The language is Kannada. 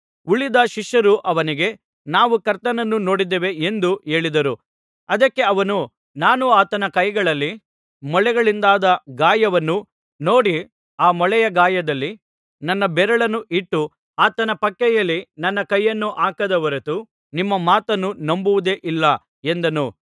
ಉಳಿದ ಶಿಷ್ಯರು ಅವನಿಗೆ ನಾವು ಕರ್ತನನ್ನು ನೋಡಿದ್ದೇವೆ ಎಂದು ಹೇಳಿದರು ಅದಕ್ಕೆ ಅವನು ನಾನು ಆತನ ಕೈಗಳಲ್ಲಿ ಮೊಳೆಗಳಿಂದಾದ ಗಾಯವನ್ನು ನೋಡಿ ಆ ಮೊಳೆಯ ಗಾಯದಲ್ಲಿ ನನ್ನ ಬೆರಳನ್ನು ಇಟ್ಟು ಆತನ ಪಕ್ಕೆಯಲ್ಲಿ ನನ್ನ ಕೈಯನ್ನು ಹಾಕದ ಹೊರತು ನಿಮ್ಮ ಮಾತನ್ನು ನಂಬುವುದೇ ಇಲ್ಲ ಎಂದನು